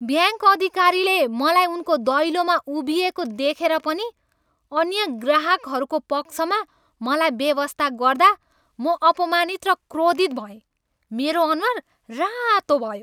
Bank अधिकारीले मलाई उनको दैलोमा उभिइएको देखेर पनि अन्य ग्राहकहरूको पक्षमा मलाई बेवास्ता गर्दा म अपमानित र क्रोधित भएँ, मेरो अनुहार रातो भयो।